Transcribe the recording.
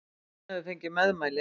Hann hefur fengið meðmæli!